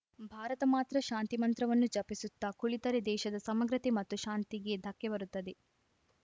ಭಾರತ ಮಾತ್ರ ಶಾಂತಿ ಮಂತ್ರವನ್ನು ಜಪಿಸುತ್ತಾ ಕುಳಿತರೆ ದೇಶದ ಸಮಗ್ರತೆ ಮತ್ತು ಶಾಂತಿಗೆ ಧಕ್ಕೆ ಬರುತ್ತದೆ